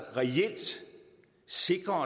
sikre at